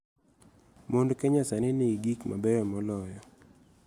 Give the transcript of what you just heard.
Mond Kenya sani nigi gik mabeyo moloyo